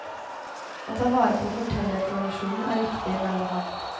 Å ta vare på fortellertradisjonen er viktig, mener han.